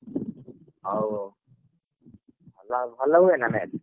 ହଉ ହଉ ଭଲ ହୁଏନା match ।